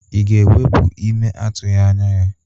Ị ga-ewepu ime a itughi anya ya?